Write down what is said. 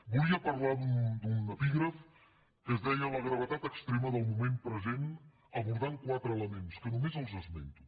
volia parlar d’un epígraf que es deia la gravetat extrema del moment present abordant quatre elements que només esmento